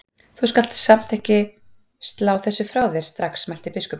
Þú skalt samt ekki slá þessu frá þér strax mælti biskupinn.